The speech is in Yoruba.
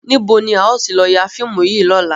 Níbo ni a ó ti lọ yà fíìmù yìí lọ́la?